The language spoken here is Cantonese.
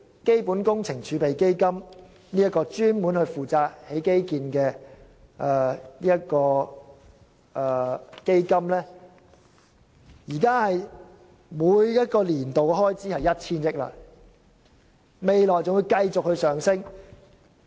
基本工程儲備基金——專門用來興建基建的基金——現時每個年度的開支為 1,000 億元，未來的開支仍會繼續上升。